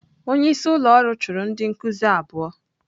Onye isi ụlọ ọrụ chụrụ ndị nkuzi abụọ.